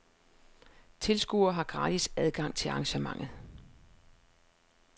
Tilskuere har gratis adgang til arrangementet.